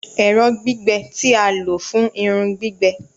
Ẹrọ gbigbẹ ti a lo fun irun gbigbẹ